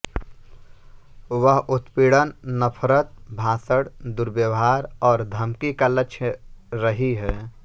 वह उत्पीड़न नफरत भाषण दुर्व्यवहार और धमकी का लक्ष्य रही है